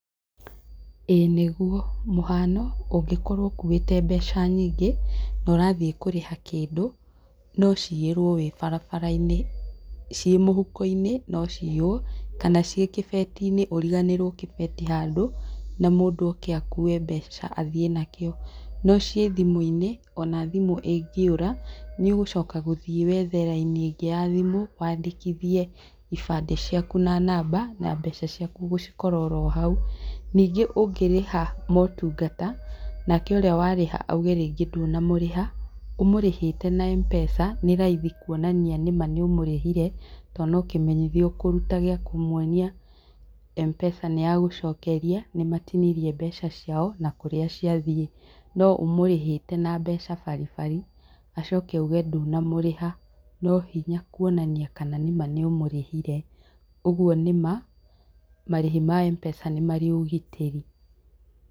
Ĩĩ nĩ guo. Mũhano, ũngĩkorwo ũkuĩte mbeca nyingĩ, na ũrathiĩ kurĩha kĩndũ, no ciiyĩrwo wĩ barabara-inĩ. Ciĩ mũhuko-inĩ no ciiywo kana ciĩ kĩbeti-inĩ ũriganĩrwo kĩbeti handũ, na mũndũ oke akue mbeca athiĩ nakĩo. No ciĩ thimũ-inĩ, ona thimũ ĩngĩũra, nĩũgũcoka gũthiĩ wethe raini ĩngĩ ya thimũ, wandĩkithie ibandĩ ciaku na namba, na mbeca ciaku ũgũcikora oro hau. Ningĩ ũngĩrĩha motungata, nake ũrĩa warĩha rĩngĩ auge ndũnamũrĩha, ũmũrĩhĩte na M-Pesa nĩ raithi kuonania nĩma nĩ ũmũrĩhire, to nĩ kĩmenyithia ũkũruta gia kũmuonia M-Pesa nĩ yagũcokeria, nĩ matinirie mbeca ciao, na kũrĩa ciathiĩ. No ũmũrĩhĩte na mbeca baribari, acoke auge ndũnamũrĩha, no hinya kuonania kana nĩma nĩ ũmũrĩhire. Ũguo nĩma, marĩhi ma M-Pesa nĩ marĩ ũgitĩri.